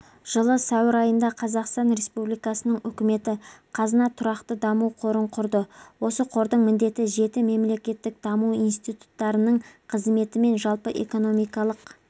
жылы сәуір айында қазақстан республикасының үкіметі қазына тұрақты даму қорын құрды осы қордың міндеті жеті мемлекеттік даму институттарының қызметі мен жалпы экономикалық